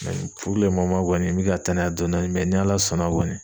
kɔni mi ka taa n'a dɔɔni dɔɔni ni Ala sɔnna kɔni